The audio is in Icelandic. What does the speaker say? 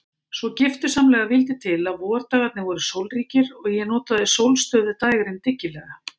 Svo giftusamlega vildi til að vordagarnir voru sólríkir og ég notaði sólstöfuð dægrin dyggilega.